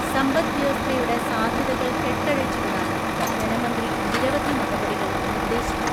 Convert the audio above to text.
സമ്പദ്വ്യവസ്ഥയുടെ സാധ്യതകള്‍ കെട്ടഴിച്ചുവിടാന്‍ ധനമന്ത്രി നിരവധി നടപടികള്‍ നിര്‍ദ്ദേശിച്ചു.